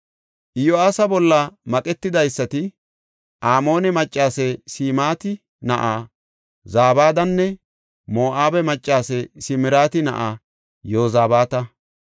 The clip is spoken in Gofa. Iyo7aasa bolla maqetidaysati Amoone maccase Simaati na7aa Zabadanne Moo7abe maccase Simariti na7aa Yozabaata.